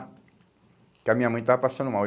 Porque a minha mãe estava passando mal.